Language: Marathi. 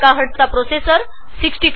400म्हझ प्रोसेसर ६४ एमबी